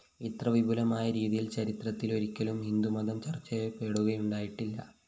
ഇത്ര വിപുലമായ രീതിയില്‍ ചരിത്രത്തിലൊരിക്കലും ഹിന്ദുമതം ചര്‍ച്ചചെയ്യപ്പെടുകയുണ്ടായിട്ടില്ല